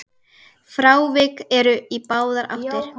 Frávik eru í báðar áttir.